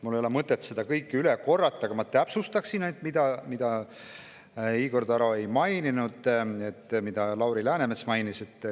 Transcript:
Mul ei ole mõtet seda kõike üle korrata, ma täpsustan ainult seda, mida Igor Taro ei maininud, aga mida Lauri Läänemets mainis.